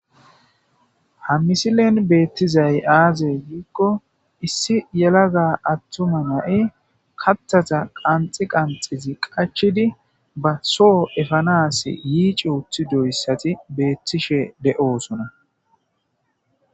ha misilen beettizay aaze giikko issi yelaga attuma na7i katthata qanxi qanxizi qachidi ba soo efanas yiici wuthi doyssati beettishe de7osona